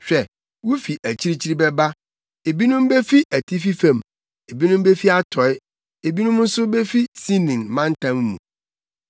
Hwɛ, wufi akyirikyiri bɛba ebinom befi atifi fam, ebinom befi atɔe fam ebinom nso befi Sinin mantam mu.”